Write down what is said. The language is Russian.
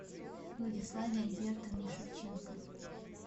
владиславе альбертовне шевченко